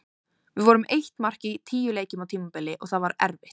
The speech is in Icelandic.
Við vorum með eitt mark í tíu leikjum á tímabili og það var erfitt.